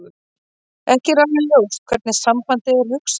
Ekki er alveg ljóst hvernig sambandið er hugsað.